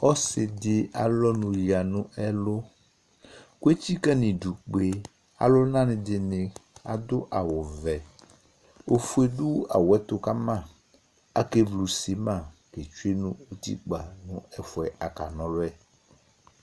Ɔsɩdɩ alʋ ɔnʋ yǝ nʋ ɛlʋ , k'etsikǝ n'idu kpe alʋnanɩ dɩnɩ adʋ awʋvɛ ; ofue dʋ awʋɛtʋ kama Akevlu simitɩ, tsue nʋ utikpa n'ɛfʋɛ aka n'ɔlʋɛ